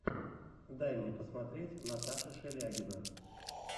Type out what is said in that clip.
дай мне посмотреть наташа шелягина